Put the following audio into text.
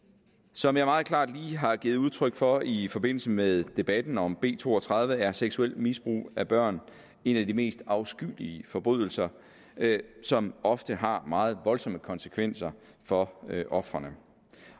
som jeg meget klart lige har givet udtryk for i i forbindelse med debatten om b to og tredive er seksuelt misbrug af børn en af de mest afskyelige forbrydelser som ofte har meget voldsomme konsekvenser for ofrene